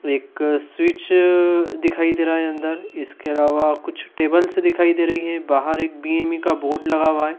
एक स्विचअ दिखाई दे रहा अंदर इसके अलावा कुछ टेबल्स दिखाई दे रही हैं बाहर एक बी_एम_ई का बोर्ड लगा हुआ है।